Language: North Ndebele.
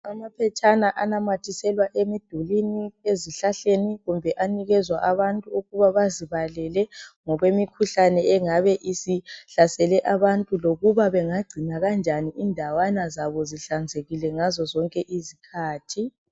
Amaphetshana anamathiselwa emidulini , ezihlahleni kumbe anikezwa abantu ukuba bazibalele ngokwe mikhuhlane engabe isihlasele abantu lokuba bengagcina kanjani indawana zabo zihlanzekile ngazo zonke izikhathi .